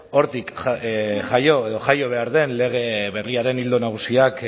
hortik jaio edo jaio behar den lege berriaren ildo nagusiak